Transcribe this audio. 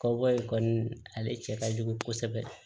Kaba in kɔni ale cɛ ka jugu kosɛbɛ